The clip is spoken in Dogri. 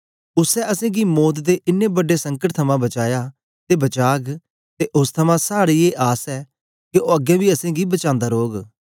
उसै असेंगी मौत दे इनें बड्डे संकट थमां बचाया ते बचाग ते ओस थमां साड़ी ए आस ऐ के ओ अगें बी असेंगी बचांदा रौग